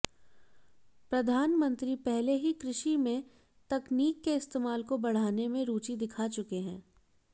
प्रधानमंत्री पहले ही कृषि में तकनीक के इस्तेमाल को बढ़ाने में रुचि दिखा चुके हैं